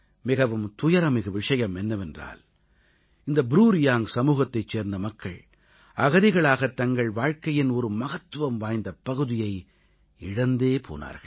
மிகவும் துயரம்மிகு விஷயம் என்னவென்றால் இந்த ப்ரூ ரியாங்க் சமூகத்தைச் சேர்ந்த மக்கள் அகதிகளாகத் தங்கள் வாழ்க்கையின் ஒரு மகத்துவம் வாய்ந்த பகுதியை இழந்தே போனார்கள்